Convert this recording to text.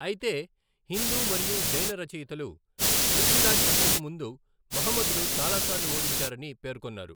అయితే, హిందూ మరియు జైన రచయితలు పృథ్వీరాజ్ హత్యకు ముందు మహమ్మద్ను చాలాసార్లు ఓడించారని పేర్కొన్నారు.